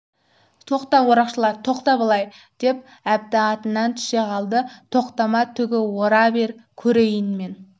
тоқта орақшылар тоқта былай деп әбді атынан түсе қалды тоқтама түгі ора бер көрейін мен